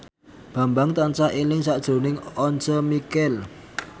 Bambang tansah eling sakjroning Once Mekel